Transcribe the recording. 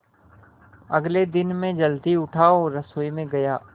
अगले दिन मैं जल्दी उठा और रसोई में गया